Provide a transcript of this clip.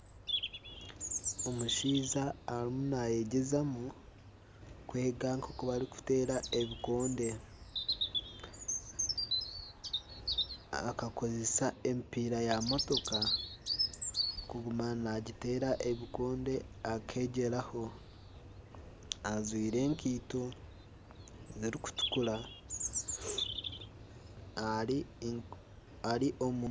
Omushaija arimu nayegyezamu kwega nk'oku barikuteera ebikonde. Akakozesa emipiira ya motoka kuguma nagiteera ebikonde akegyeraho ajwaire enkaito zirikutukura ari omu